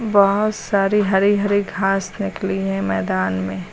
बहोत सारी हरी हरी घास निकली है मैदान में।